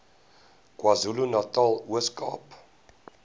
kwazulunatal ooskaap